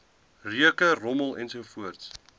reuke rommel ensovoorts